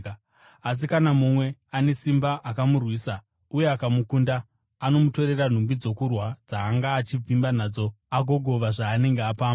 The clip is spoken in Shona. Asi kana mumwe ane simba akamurwisa uye akamukunda, anomutorera nhumbi dzokurwa dzaanga achivimba nadzo agogova zvaanenge apamba.